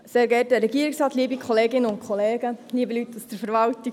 Ich gebe der Motionärin, Grossrätin Beutler, das Wort.